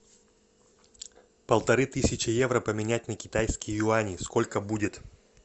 полторы тысячи евро поменять на китайские юани сколько будет